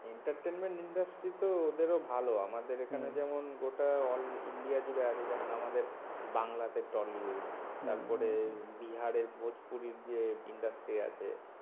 entertainment industry তো ওদেরও ভালো আমাদের এখানে যেমন গোটা অল ইন্ডিয়া জুড়ে আছে। যেমন আমাদের বাংলা তে টলিউড তারপরে বিহারের ভোজপুরির যে industry আছে